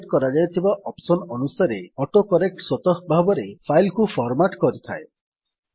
set କରାଯାଇଥିବା option ଅନୁସାରେ autocorrect ସ୍ୱତଃ ଭାବରେ ଫାଇଲ୍ କୁ ଫର୍ମାଟ୍ କରିଥାଏ